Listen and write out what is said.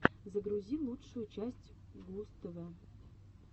загрузи лучшую часть густв